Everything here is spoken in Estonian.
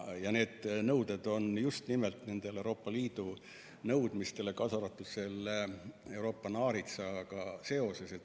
Ja need nõuded vastavad just nimelt nendele Euroopa Liidu nõudmistele, kaasa arvatud selle Euroopa naaritsaga seoses.